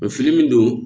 Fini min don